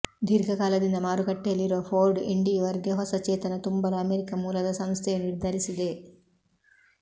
ದೀರ್ಘ ಕಾಲದಿಂದ ಮಾರುಕಟ್ಟೆಯಲ್ಲಿರುವ ಫೋರ್ಡ್ ಎಂಡೀವರ್ ಗೆ ಹೊಸ ಚೇತನ ತುಂಬಲು ಅಮೆರಿಕ ಮೂಲದ ಸಂಸ್ಥೆಯು ನಿರ್ಧರಿಸಿದೆ